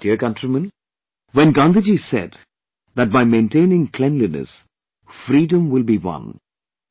My dear countrymen, when Gandhiji said that by maintaining cleanliness, freedom will be won